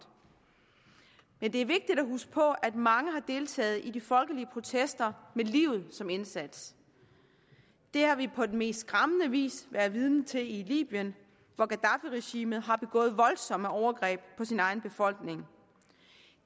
men det er vigtigt at huske på at mange har deltaget i de folkelige protester med livet som indsats det har vi på den mest skræmmende vis været vidne til i libyen hvor gaddafiregimet har begået voldsomme overgreb på sin egen befolkning